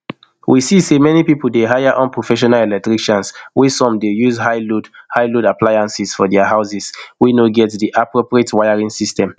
we see say many pipo dey hire unprofessional electricians wey some dey use highload highload appliances for dia houses wey no get di appropriate wiring system